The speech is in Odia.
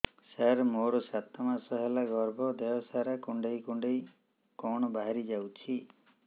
ସାର ମୋର ସାତ ମାସ ହେଲା ଗର୍ଭ ଦେହ ସାରା କୁଂଡେଇ କୁଂଡେଇ କଣ ବାହାରି ଯାଉଛି